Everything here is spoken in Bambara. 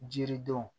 Jiridenw